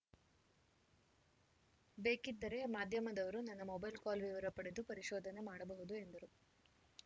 ಬೇಕಿದ್ದರೆ ಮಾಧ್ಯಮದವರು ನನ್ನ ಮೊಬೈಲ್‌ ಕಾಲ್‌ ವಿವರ ಪಡೆದು ಪರಿಶೋಧನೆ ಮಾಡಬಹುದು ಎಂದರು